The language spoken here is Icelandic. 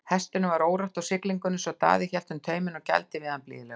Hestinum var órótt á siglingunni svo Daði hélt um tauminn og gældi við hann blíðlega.